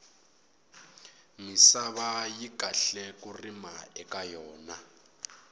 misava yi kahle ku rima eka yona